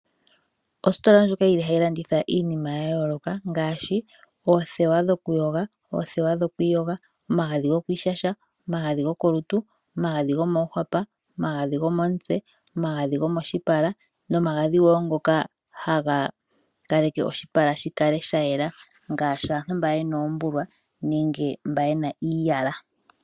Ositola ndjoka yili hayi landitha iinima ya yooloka ngaaashi, oothewa dhokuyoga, oothewa dhokwiiyoga, omagadhi gokwiishasha, omagadhi go kolutu, omagadhi gomoohwapa, omagadhi gomomutse, no magadhi ngoka haga kaleke oshipala shikale sha yela ngaashi aantu mba yena oombulwa nenge mba yena iiyala.